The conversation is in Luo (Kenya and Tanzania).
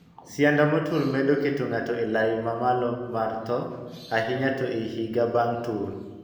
Sianda motur medo keto ng'ato e lai ma mamalo mar thoo, ahinya to ei higa bang' tur.